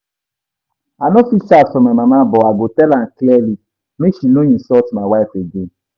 I no fit shout for my mama but I go tell am clearly make she no insult my wife again